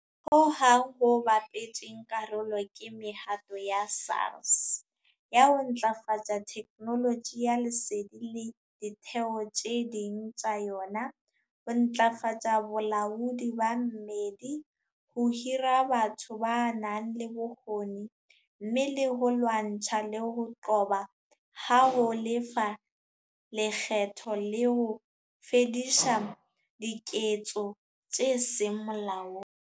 Ho hong ho bapetseng karolo ke mehato ya SARS ya ho ntlafatsa theknoloji ya lesedi le ditheo tse ding tsa yona, ho ntjhafatsa bolaodi ba mmedi, ho hira batho ba nang le bokgoni, mme le ho lwantshana le ho qoba ha ho lefa lekgetho le ho fedisa diketso tse seng molaong.